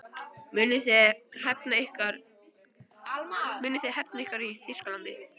Munuð þið hefna ykkar í Þýskalandi?